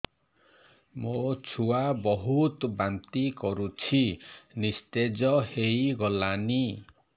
ମୋ ଛୁଆ ବହୁତ୍ ବାନ୍ତି କରୁଛି ନିସ୍ତେଜ ହେଇ ଗଲାନି